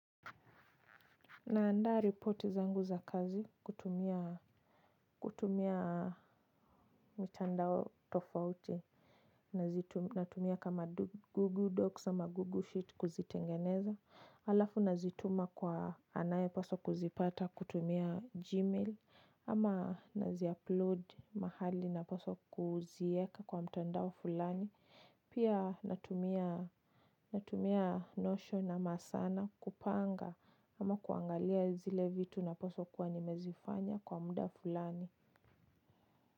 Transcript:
Naandaa reporti zangu za kazi kutumia mitandao tofauti na tumia kama Google Docs ama Google Sheet kuzitengeneza. Alafu nazituma kwa anayepaswa kuzipata kutumia Gmail ama naziupload mahali na paswa kuzieka kwa mtandao fulani. Pia natumia notion ama sana kupanga ama kuangalia zile vitu napaswa kuwa nimezifanya kwa muda fulani.